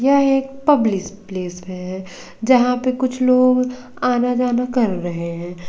यह एक public place है जहां पे कुछ लोग आना जाना कर रहे हैं।